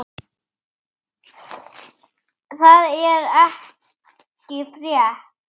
Það er ekki frétt.